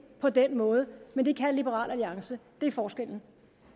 på den måde men det kan liberal alliance det er forskellen